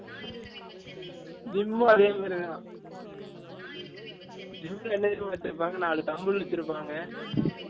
gym ல அதே மாதிரி தான், gym ல என்ன தெரியுமா வச்சு இருப்பாங்க நாலு thumbles வச்சு இருப்பாங்க